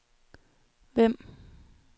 Vemb